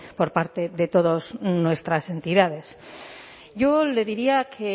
por parte de todas nuestras entidades yo le diría que